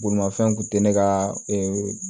Bolimafɛn kun tɛ ne ka ee